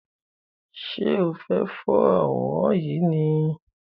Ṣe o fẹ for àwòrán yìí ni?